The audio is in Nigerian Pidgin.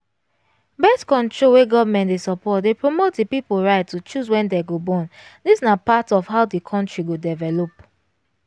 birth-control wey government dey support dey promote the people right to choose wen dem go born this na part of how the country go develop